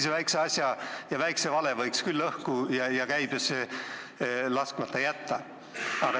Sellise asja, väikse vale võiks küll õhku ja käibesse laskmata jätta.